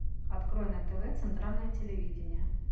открой на тв центральное телевидение